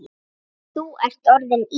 Þú ert orðinn Ís